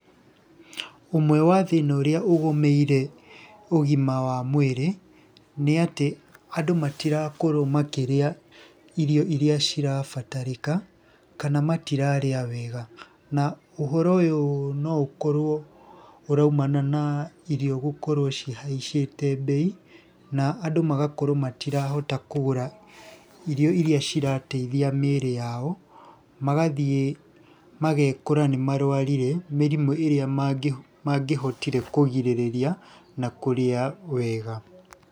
Ũmwe wa thĩna ũrĩa ũgomeire ũgima wa mwĩrĩ, nĩ atĩ andũ matirakorwo makĩrĩa irio iria cirabatarĩka, kana matirarĩa wega. Na ũhoro ũyũ no ũkorwo ũraumana na irio gũkorwo cihaicĩte mbei, na andũ magakorwo matirahota kũgũra irio iria cirateithia mĩĩrĩ yao, magathiĩ magekora nĩmarũarire mĩrimũ ĩrĩa mangĩhotire kũgirĩrĩria na kũrĩa wega.